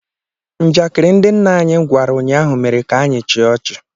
"Njakịrị ndị nna anyị gwara ụnyaahụ mere ka anyị chịa ọchị."